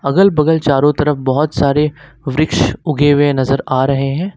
अगल बगल चारों तरफ बहोत सारे वृक्ष उगे हुए नजर आ रहे हैं।